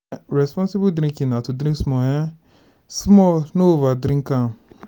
responsible drinking na to drink small um small no overdrink am